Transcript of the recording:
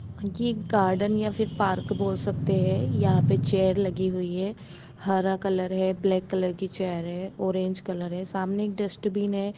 ये गार्डेन या पार्क बोल सकते है यहां पे चेयर लगी हुई है हरा कॉलर है ब्लैक कॉलर की चेयर है ऑरेंज कॉलर है सामने डस्टबीन है।